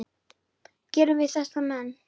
gera við þessa menn?